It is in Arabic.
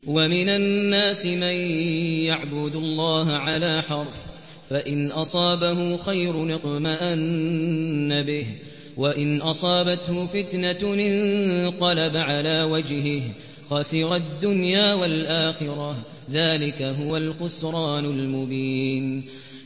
وَمِنَ النَّاسِ مَن يَعْبُدُ اللَّهَ عَلَىٰ حَرْفٍ ۖ فَإِنْ أَصَابَهُ خَيْرٌ اطْمَأَنَّ بِهِ ۖ وَإِنْ أَصَابَتْهُ فِتْنَةٌ انقَلَبَ عَلَىٰ وَجْهِهِ خَسِرَ الدُّنْيَا وَالْآخِرَةَ ۚ ذَٰلِكَ هُوَ الْخُسْرَانُ الْمُبِينُ